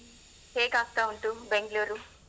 ಹೇಗ ಆಗ್ತಾ ಉಂಟು ಬೆಂಗ್ಳುರು?